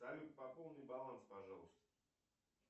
салют пополни баланс пожалуйста